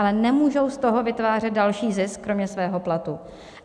Ale nemůžou z toho vytvářet další zisk kromě svého platu.